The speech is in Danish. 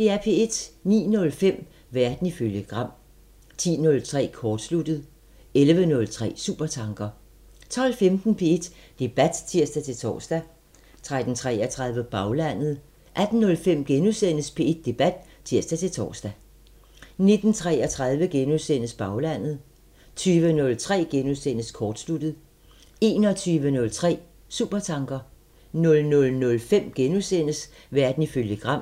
09:05: Verden ifølge Gram 10:03: Kortsluttet 11:03: Supertanker 12:15: P1 Debat (tir-tor) 13:33: Baglandet 18:05: P1 Debat *(tir-tor) 19:33: Baglandet * 20:03: Kortsluttet * 21:03: Supertanker 00:05: Verden ifølge Gram *